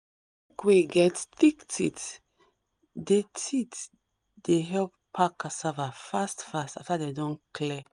wey get thick teeth dey teeth dey help pack cassava fast fast fast dey don clear